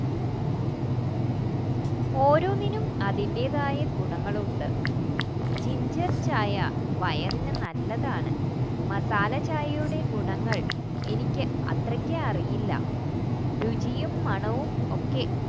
ഓരോന്നിനും അതിൻറെ തായ് ഗുണങ്ങളുണ്ട് ഇഞ്ചി ചായ വയറിനു നല്ലതാണ് മസാല ചായയുടെ ഗുണങ്ങൾ എനിക്ക് അത്രയ്ക്ക് അറിയില്ല രുചിയും മണവും ഒക്ക